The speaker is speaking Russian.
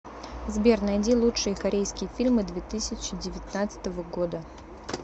сбер найди лучшие корейские фильмы две тысячи девятнадцатого года